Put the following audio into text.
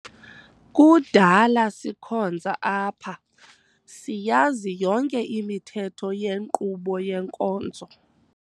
Kudala sikhonza apha, siyazi yonke imithetho yenkqubo yenkonzo.